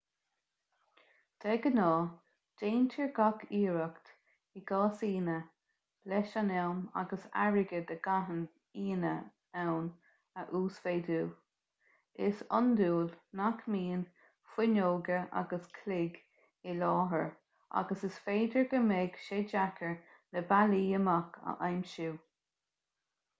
de ghnáth déantar gach iarracht i gcasaíne leis an am agus airgead a gcaitheann aíonna ann a uasmhéadú is iondúil nach mbíonn fuinneoga agus cloig i láthair agus is féidir go mbeidh sé deacair na bealaí amach a aimsiú